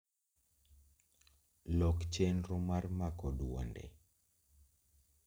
Lok chenro mar mako duonde